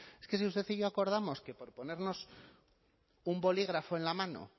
es que si usted y yo acordamos que por ponernos un bolígrafo en la mano